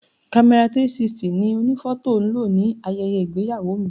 Kamera 360 ni onifoto lo ní ayẹyẹ ìgbéyàwó mi.